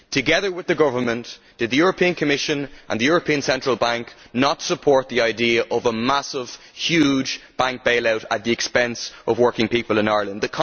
Together with the government, did the European Commission and the European Central Bank not support the idea of a massive bank bailout at the expense of working people in Ireland?